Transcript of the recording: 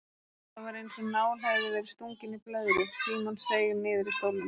Það var einsog nál hefði verið stungið í blöðru, Símon seig niður í stólnum.